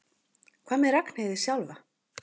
Hvað með Ragnheiði sjálfa?